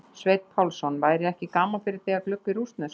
Sveinn Pálsson: væri ekki gaman fyrir þig að glugga í rússnesku?